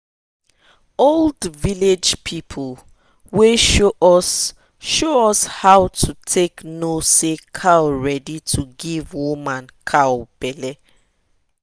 old village people sabi show us how show us how to take know say cow ready to give woman cow belle.